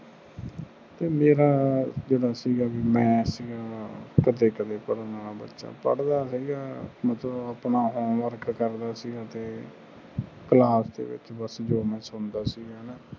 ਮੇਰਾ ਜਿਹੜਾ ਸੀਗਾ ਵੀ ਮੈਂ ਕਰਨ ਵਾਲਾ ਬਚਾ ਪੜ੍ਹਦਾ ਹੈਗਾ ਮਤਲਬ ਆਪਣਾ ਹੋਮ ਵਰਕ ਕਰਦਾ ਸੀ ਤੇ ਕਲਾਸ ਦੇ ਵਿਚ ਜੋ ਮੈਂ ਸੁਣਦਾ ਸੀ ਹੈਨਾ